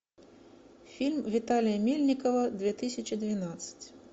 фильм виталия мельникова две тысячи двенадцать